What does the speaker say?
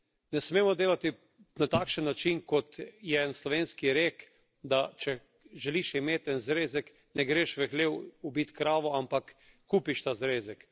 Ne smemo delati na takšen način, kot je slovenski rek, da če želiš imeti en zrezek, ne greš v hlev ubit krave, ampak kupiš ta zrezek.